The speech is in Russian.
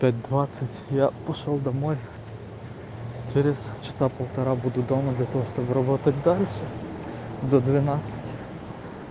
пять двадцать я пошёл домой через часа полтора буду дома для того чтобы работать дальше до двенадцати